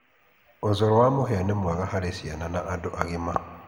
ũcũrũ wa mũhĩa nĩ mwega harĩ ciana na andũ agima.